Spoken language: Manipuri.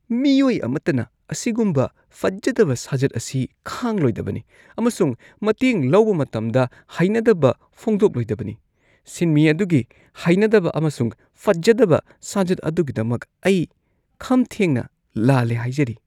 ꯃꯤꯑꯣꯏ ꯑꯃꯠꯇꯅ ꯑꯁꯤꯒꯨꯝꯕ ꯐꯖꯗꯕ ꯁꯥꯖꯠ ꯑꯁꯤ ꯈꯥꯡꯂꯣꯏꯗꯕꯅꯤ ꯑꯃꯁꯨꯡ ꯃꯇꯦꯡ ꯂꯧꯕ ꯃꯇꯝꯗ ꯍꯩꯅꯗꯕ ꯐꯣꯡꯗꯣꯛꯂꯣꯢꯗꯕꯅꯤ꯫ ꯁꯤꯟꯃꯤ ꯑꯗꯨꯒꯤ ꯍꯩꯅꯗꯕ ꯑꯃꯁꯨꯡ ꯐꯖꯗꯕ ꯁꯥꯖꯠ ꯑꯗꯨꯒꯤꯗꯃꯛ ꯑꯩ ꯈꯝꯊꯦꯡꯅ ꯂꯥꯜꯂꯦ ꯍꯥꯏꯖꯔꯤ ꯫